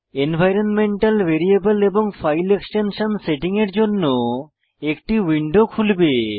environmental variable এবং file extension setting এর জন্য একটি উইন্ডো খুলবে